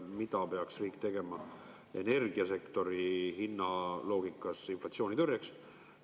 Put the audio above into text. Mida peaks riik tegema energiasektori hinnaloogikas inflatsiooni tõrjumiseks?